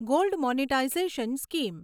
gold monetisation scheme